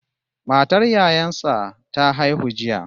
Matar yayan sa ta haihu jiya